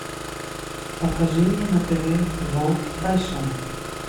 покажи мне на тв ворлд фэшн